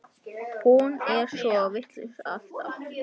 Hún er svo vitlaus alltaf.